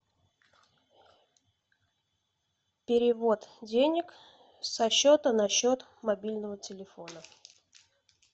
перевод денег со счета на счет мобильного телефона